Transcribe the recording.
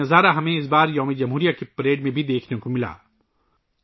ہمیں اس بار یوم جمہوریہ کی پریڈ میں بھی ایسا ہی منظر دیکھنے کو ملا